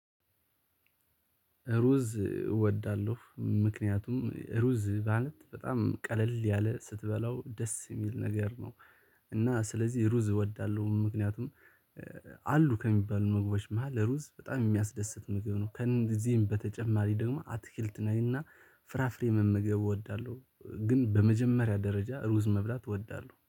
ሩዝ እወዳለሁ። ምክንያቱም ሩዝ ማለት በጣም ቀለል ያለ ስትበላው ደስ የሚል ነገር ነው። እና ስለዚህ ሩዝ እወዳለሁ። ምክንያቱም አሉ ከሚባሉ መግባት መሃል ሩዝ በጣም የሚያስደስት ምግብ ነው። ከእነዚህም በተጨማሪ ደግሞ አትክልት ነውና ፍራፍሬ መመገብ እወዳለሁ። ግን በመጀመሪያ ደረጃ ሩዝ መብላት እወዳለሁ።